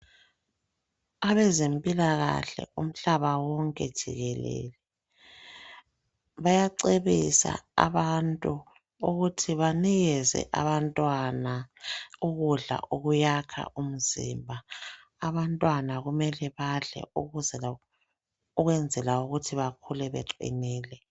Abezempilakahle umhlaba wonke jikelele bayacebisa abantu ukuthi banikeze abantwana ukudla okuyakha umzimba, abantwana kumele badle ukwenzela ukuthi bakhule beqinile.